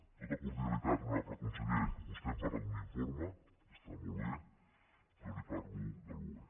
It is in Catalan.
amb tota cordialitat honorable conseller vostè em parla d’un informe que està molt bé i jo li parlo del boe